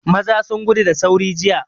Maza sun gudu da sauri jiya.